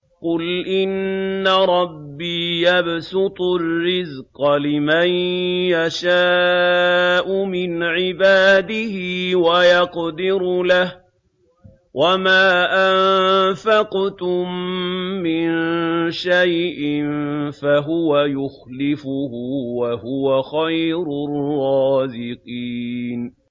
قُلْ إِنَّ رَبِّي يَبْسُطُ الرِّزْقَ لِمَن يَشَاءُ مِنْ عِبَادِهِ وَيَقْدِرُ لَهُ ۚ وَمَا أَنفَقْتُم مِّن شَيْءٍ فَهُوَ يُخْلِفُهُ ۖ وَهُوَ خَيْرُ الرَّازِقِينَ